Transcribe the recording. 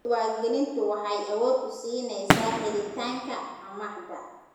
Diiwaangelintu waxay awood u siinaysaa helitaanka amaahda.